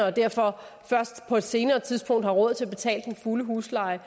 og derfor først på et senere tidspunkt har råd til at betale den fulde husleje